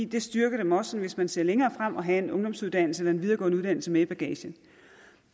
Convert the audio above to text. det styrker dem også hvis man sådan ser længere frem at have en ungdomsuddannelse eller en videregående uddannelse med i bagagen